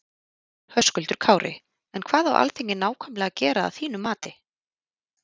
Höskuldur Kári: En hvað á Alþingi nákvæmlega að gera að þínum mati?